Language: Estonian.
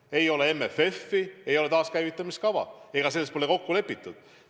Ei ole MFF-i, ei ole taaskäivitamiskava – selles kõiges pole kokku lepitud.